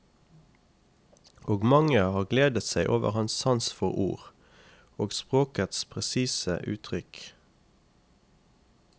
Og mange har gledet seg over hans sans for ord, og språkets presise uttrykk.